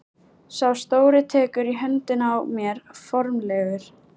Sá stóri tekur í höndina á mér formlegur.